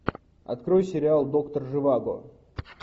открой сериал доктор живаго